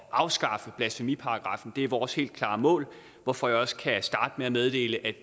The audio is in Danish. afskaffe blasfemiparagraffen det er vores helt klare mål hvorfor jeg også kan starte med at meddele at